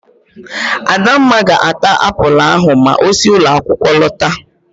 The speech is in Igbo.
Adamma ga-ata apụl ahụ ma osi ụlọakwụkwọ lọta.